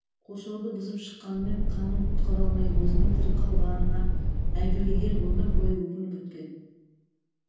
қоршауды бұзып шыққанымен ханын құтқара алмай өзінің тірі қалғанына әйгілң ер өмір бойы өкініп өткен